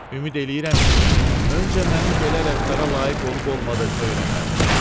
Ümid eləyirəm ki, öncə mənim belə rəftara layiq olub-olmadığımı öyrənərdin.